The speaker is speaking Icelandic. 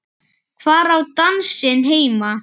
Hvar á dansinn heima?